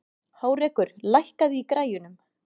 Hárekur, lækkaðu í græjunum.